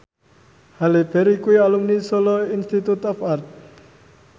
Halle Berry kuwi alumni Solo Institute of Art